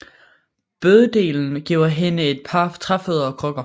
Bøddelen giver hende et par træfødder og krykker